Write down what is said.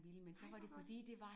Nej hvor godt!